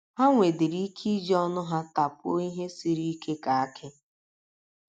Ha nwedịrị ike iji ọnụ ha tapuo ihe sịrị ike ka akị.